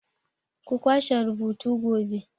Ku kwashe rubutu gobe!